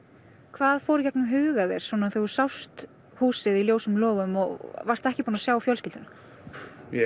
hvað fór í gegnum huga þér þegar þú sást húsið í ljósum logum og varst ekki búinn að sjá fjölskylduna ég